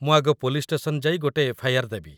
ମୁଁ ଆଗ police station ଯାଇ ଗୋଟେ ଏଫ୍.ଆଇ.ଆର୍. ଦେବି ।